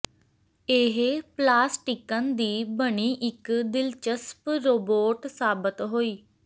ਇਹ ਪਲਾਸਟਿਕਨ ਦੀ ਬਣੀ ਇਕ ਦਿਲਚਸਪ ਰੋਬੋਟ ਸਾਬਤ ਹੋਈ